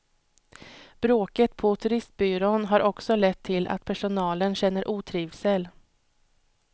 Bråket på turistbyrån har också lett till att personalen känner otrivsel.